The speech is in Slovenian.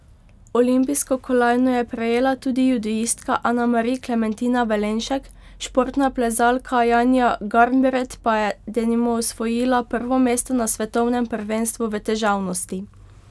Olimpijsko kolajno je prejela tudi judoistka Anamari Klementina Velenšek, športna plezalka Janja Garnbret pa je denimo osvojila prvo mesto na svetovnem prvenstvu v težavnosti.